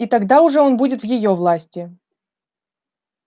и тогда уже он будет в её власти